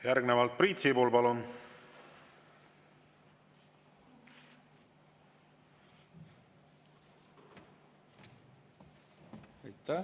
Järgnevalt Priit Sibul, palun!